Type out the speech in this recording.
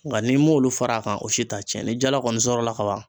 Nka n'i m'olu fara a kan o si t'a cɛn ni jala kɔni sɔrɔla ka ban